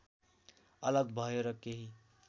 अलग भयो र केही